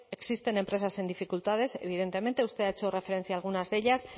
existen empresas en dificultades evidentemente usted ha hecho referencia a algunas de ellas